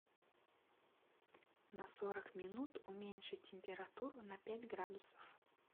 на сорок минут уменьши температуру на пять градусов